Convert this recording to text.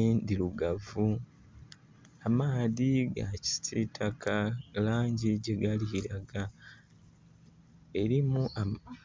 endirugavu amaadhi ga kisitaka, langi gyegali kulaga. Erimu ama (incomplete)